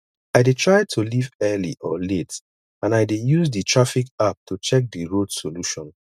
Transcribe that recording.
i dey try to leave early or late and i dey use di traffic app to check di road solution